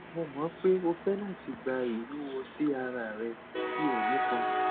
mo mọ pe o fẹ lati gba iwuwo si ara rẹ ti o nipọn